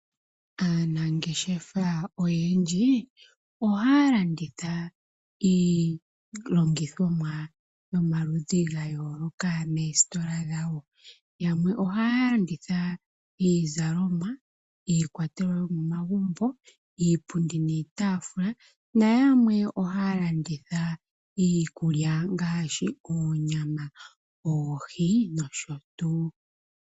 Aanafalama oyendji ohaya landitha iihape yawo mbyoka ya kunu koositola oonene opo ya vule okwii monena oshimaliwa sho mondjato.